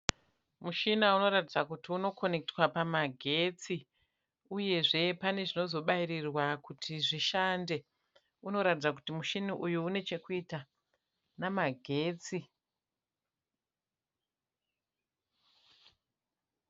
Muchina unoratidza kuti unokonekitwa pamagetsi, uyezve pane zvinozobairirwa kuti zvishande. Unoratidza kuti muchini uyu une chekuita namagetsi.